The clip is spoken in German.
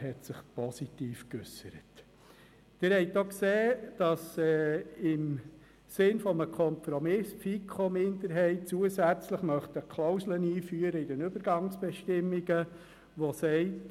Sie haben auch gesehen, dass die FiKo-Minderheit im Sinne eines Kompromisses zusätzlich eine Klausel in den Übergangsbestimmungen einführen möchte.